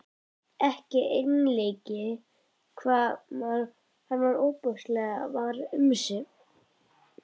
Ekki einleikið hvað hann var ofboðslega var um sig.